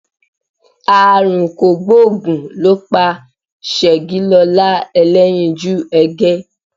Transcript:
Àrùn kògbóògùn ló pa Ṣẹ̀gilọlá Ẹlẹ́yinjú Ẹgẹ́